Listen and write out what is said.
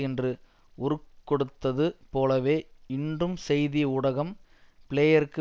என்று உருக்கொடுத்தது போலவே இன்றும் செய்தி ஊடகம் பிளேயருக்கு